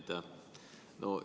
Aitäh!